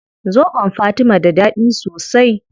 Zobon fatima da dadi sosai